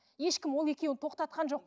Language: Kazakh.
ешкім ол екеуін тоқтатқан жоқ